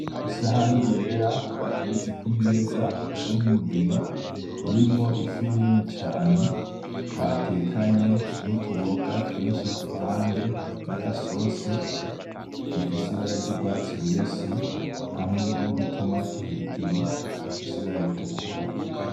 Isahane yera bateretse ku meza, isa nk'umugena irimwo ifi inini cane, batekanye n’utuboga twinshi ku ruhande n'agasosi dufise ibara ry’urwatsi rubisi hamwe n’udutomati hejuru dufise ibara ritukura.